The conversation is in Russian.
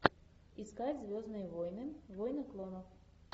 искать звездные войны войны клонов